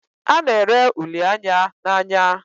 A na ere uli Anya n'anya